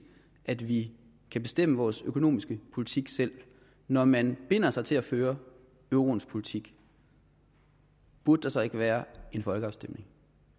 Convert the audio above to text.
at vi kan bestemme vores økonomiske politik selv når man binder sig til at føre euroens politik burde der så ikke være en folkeafstemning